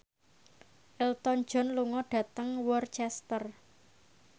Elton John lunga dhateng Worcester